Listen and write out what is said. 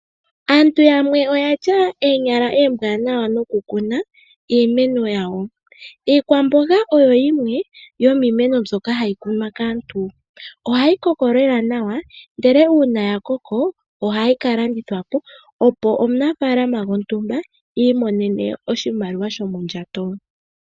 Aantu yamwe oya tya iikaha iimanawa nokukuna iimeno yawo. Iikwamboga oyo yimwe yomiimeno mbyoka hayi kunwa kaantu. Ohayi koko lela nawa nuuna ya koko ohayi ka landithwa po, opo omunafaalama i imonene oshimaliwa shomondjato.